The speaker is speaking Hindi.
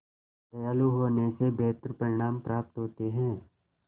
दयालु होने से बेहतर परिणाम प्राप्त होते हैं